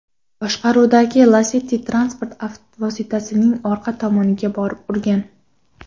boshqaruvidagi Lacetti transport vositasining orqa tomoniga borib urgan.